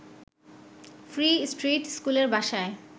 free street স্কুলের বাসায়